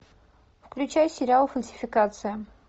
включай сериал фальсификация